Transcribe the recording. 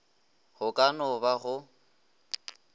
go ka no ba go